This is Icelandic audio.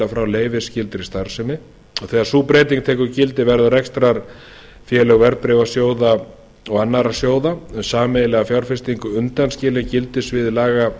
frá leyfisskyldri starfsemi þegar sú breyting tekur gildi verða rekstrarfélög verðbréfasjóða og annarra sjóða um sameiginlega fjárfestingu undanskilin gildissviði laga